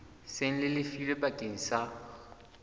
seng le lefilwe bakeng sa